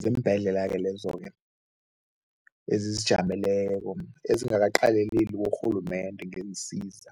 ziimbhedlela-ke lezo-ke ezizijameleko ezingakaqaleleli kurhulumende ngeensiza.